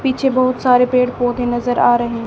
पीछे बहुत सारे पेड़ पौधे नजर आ रहे--